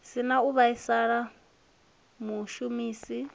si na u vhaisa mushumisi